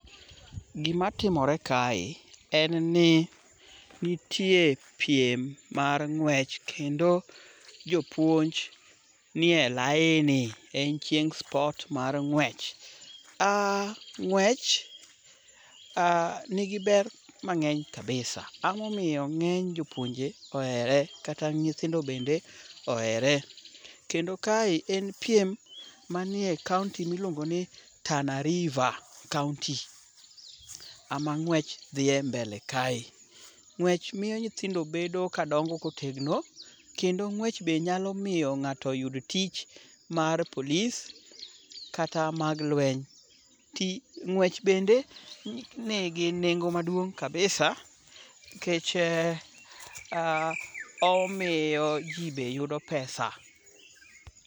Gimatimore kae, en ni nitie piem mar ng'wech kendo jopuonj nie laini ,en chieng' sport mar ng'wech. Ng'wech nigi ber mang'eny kabisa. Ang'o momiyo ng'eny jopuonje ohere kata nyithindo bende ohere?. Kendo kae en piem manie kaonti miluongo ni Tana River kaonti. Ema ng'wech dhiye mbele kae. Ng'wech miyo nyithindo bedo kadongo kotegno, kendo ng'wech be nyalo miyo ng'ato oyud tich mar police kata mag lweny. Ng'wech bende nigi nengo maduong' kabisa, omiyo ji be yudo pesa.